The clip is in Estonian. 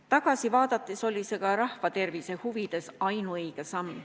Tagasi vaadates oli see rahvatervise huvides ainuõige samm.